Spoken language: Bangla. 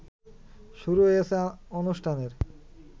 শুরু হয়েছে অনুষ্ঠানের